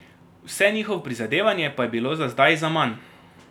Vse njihovo prizadevanje pa je bilo za zdaj zaman.